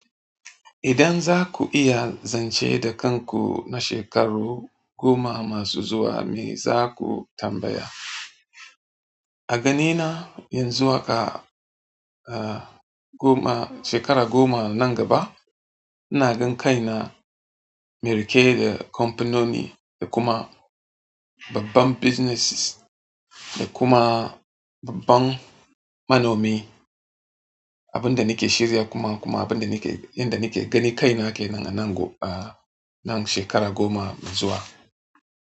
Idan za ku iya zance da kanku na shekaru goma masu zuwa, me za ku tambaya? A ganina yanzu haka, goma, shekara goma nan gaba, ina gan kai na merike da kamfanoni da kuma babban businesses da kuma babban manomi. Abin da nake shirin kuma kuma abin da nake, inda nake ganin kaina kenan a nan go-- ah, nan shekara goma me zuwa.